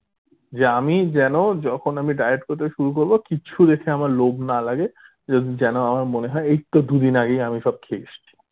যে আমি যেন যখন আমি diet করতে শুরু করবো কিছু দেখে আমার লোভ না লাগে যেন আমার মনে হয় এইতো দুদিন আগেই আমি সব খেয়ে এসছি